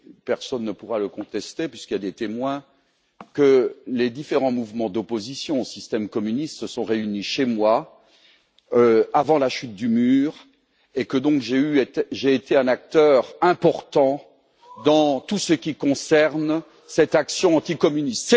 personne ne pourra le contester, puisqu'il y a des témoins que les différents mouvements d'opposition au système communiste se sont réunis chez moi, avant la chute du mur, et que j'ai donc été un acteur important dans tout ce qui concerne cette action anti communiste.